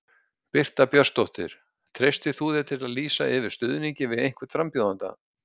Birta Björnsdóttir: Treystir þú þér til að lýsa yfir stuðningi við einhvern frambjóðanda?